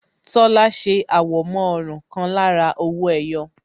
Tola ṣe àwọ̀mọ́ ọrùn kan lára owó ẹyọ